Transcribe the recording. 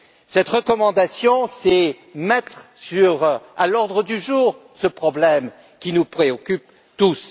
Cette recommandation consiste à mettre à l'ordre du jour ce problème qui nous préoccupe tous.